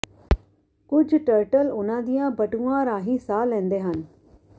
ਕੁੱਝ ਟਰਟਲ ਉਨ੍ਹਾਂ ਦੀਆਂ ਬਟੂਆਂ ਰਾਹੀਂ ਸਾਹ ਲੈਂਦੇ ਹਨ